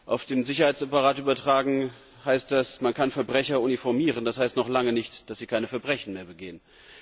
Auf den Sicherheitsapparat übertragen heißt das Man kann Verbrecher uniformieren, das heißt aber noch lange nicht, dass sie keine Verbrechen mehr begehen.